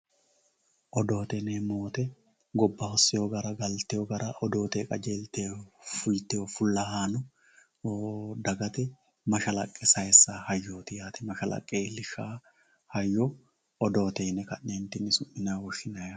Odoote yineemmo woyte gobba hosinno gara galtino gara odoote qajeelte fultino fullahano dagate mashalaqqe saysano hayyoti yaate, mashalaqqe iillishano hayyo odoote yine ka'nentinni su'minanni woshshinanni.